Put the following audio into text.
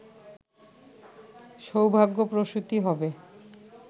সৌভাগ্যপ্রসূতি হবে